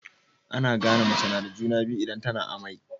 Ana gane mace nada juna biyu idan tAna amai